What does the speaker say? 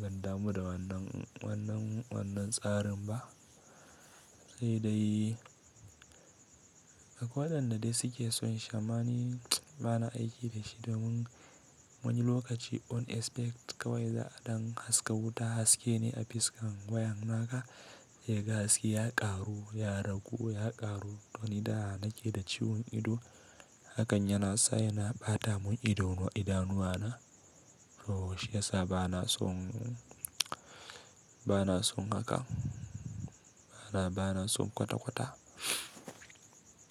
Ban damu da wannan, wannan, wannan tsarin ba. Sai dai akwadan da dai suke son shi ama ni bana aiki da shi domin wani lokaci ba zato ba tsammani kawai za'a don haska wuta haske ne a fuskan wayan naka. Yaga haske ya ƙaru, ya ragu, ya ƙaru don da nake da ciwon ido, hakan yana sa yana ɓata mun idanuwa, idanuwa na. To shi ya sa bana son, bana son haka. Bana, bana son kwata-kwata.